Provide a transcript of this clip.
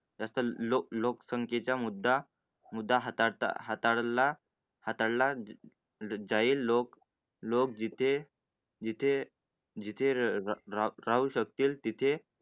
लोकसंख्येचा मुद्दा मुद्दा हाता ला हाता ला जाईल. लोक लोक जिथे जिथे जिथे राहू शकेल, तिथे